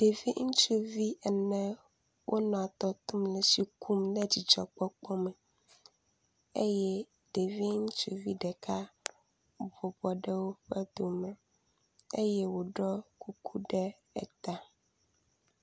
Ɖevi ŋutsuvi ene wonɔ tɔ to le tsi kum le dzidɔkpɔkpɔ me eye ɖevi ŋutsuvi ɖeka ebɔbɔ ɖe woƒe dome eye woɖɔ kuku ɖe eta.